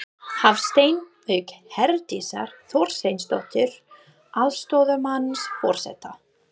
Hafstein, auk Herdísar Þorsteinsdóttur, aðstoðarmanns forseta.